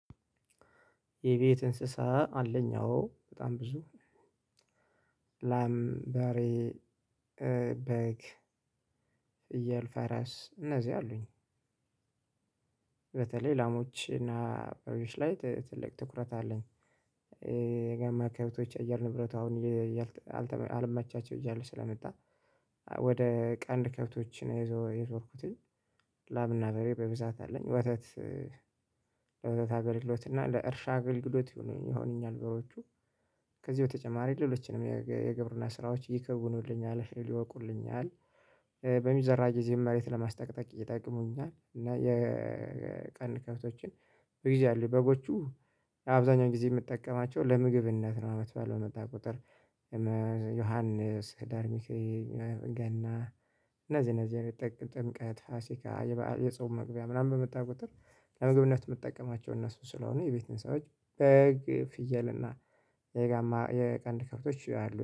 የቤት እንስሳ አለኝ አዎ በጣም ብዙ ላም በሬ በግ ፍየል ፈረስ እነዚህ አሉኝ። በተለይ ላሞች እና በሬዎች ላይ ት ትልቅ ትኩረት አለኝ። የጋማ ከብቶች አየር ንብረት አሁን እየ እየ አልተ አልመቻቸው እያለ ስለመጣ ወደ ቀንድ ከብቶች ነው የዞ የዞርኩትኝ። ላምና በሬ በብዛት አለኝ ወተት ለወተት አገልግሎት እና ለእርሻ አገልግሎት ይሁኑኝ ይሆኑኛል። በሮቹ ከዚህ በተጨማሪ ሌሎችንም የግብርና ስራዎች ይከውኑልኛል እህል ይወቁልኛል። በሚዘራ ጊዜም መሬት ለማስጠቅጠቅ ይጠቀሙኛል እና የቀንድ ከብቶችን በጊዜ አሉኝ በጎቹ አብዛኛውን ጊዜ የምጠቀማቸው ለምግብነት ነው። አመት በዓል በመጣ ቁጥር የመ ዮሐንስ ሂደርሚካኤል ገና እነዚህ እነዚህ የሚጠቅም ጥምቀት ፋሲካ የ በአ የጾም መግቢያ ምናምን በመጣ ቁጥር ለምግብነት የምጠቀማቸው እነሱን ስለሆነ። የቤት እንስሳዎች በግ ፍየል እና የጋማ የቀንድ ከፍቶች አሉ